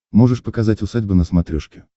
можешь показать усадьба на смотрешке